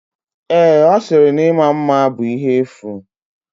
Ee, ọ sịrị na ịma mma bụ ihe efu.